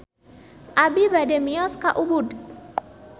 Abi bade mios ka Ubud